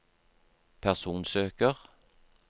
personsøker